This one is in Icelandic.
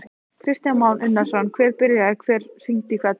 Kristján Már Unnarsson: Hver byrjaði, hver hringdi í hvern?